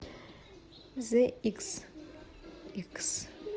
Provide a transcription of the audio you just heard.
зэ иксикс